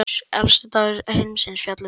Elstu sögur heimsins fjalla um þetta.